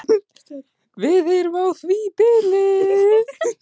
Við erum á því bili